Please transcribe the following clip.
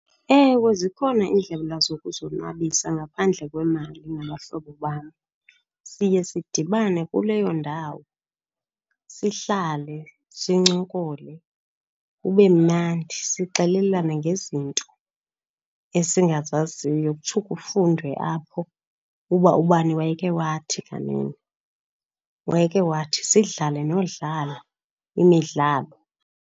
Ewe, zikhona iindlela zokuzonwabisa ngaphandle kwemali nabahlobo bam. Siye sidibane kuleyo ndawo, sihlale sincokole kube mnandi, sixelelana ngezinto esingazaziyo, kutsho kufundwe apho uba ubani wayeke wathi kanene, wayeke wathi. Sidlale nodlala imidlalo.